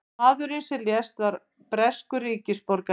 Maðurinn sem lést var breskur ríkisborgari